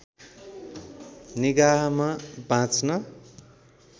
निगाहमा बाँच्न